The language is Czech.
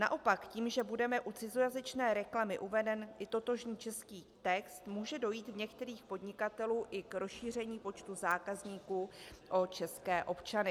Naopak tím, že bude u cizojazyčné reklamy uveden i totožný český text, může dojít u některých podnikatelů i k rozšíření počtu zákazníků o české občany.